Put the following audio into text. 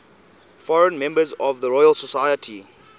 foreign members of the royal society